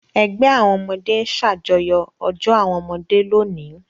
Ẹgbẹ́ àwọn ọmọdé ń ṣàjọyọ̀ ọjọ́ àwọn ọmọdé lónìí!